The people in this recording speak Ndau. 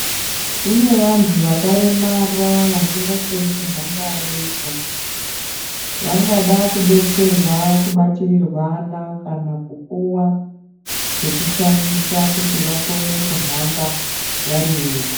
Kune vantu vakaremara vasingakoni kuhamba vega vangadai kubetserwa kubatirirwana kana kupuwa zvokushandisa zvokuti vakone kuhamba vari vega.